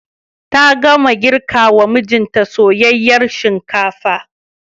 Ta gama girkawa mijinta soyayyar shinkafa.